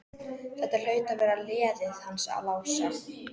Þetta hlaut að vera leiðið hans Lása.